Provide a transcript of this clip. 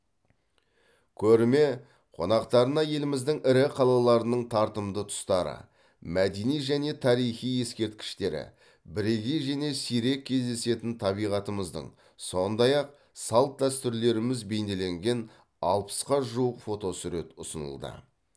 көрме қонақтарына еліміздің ірі қалаларының тартымды тұстары мәдени және тарихи ескерткіштері бірегей және сирек кездесетін табиғатымыздың сондай ақ салт дәстүрлеріміз бейнеленген алпысқа жуық фотосурет ұсынылды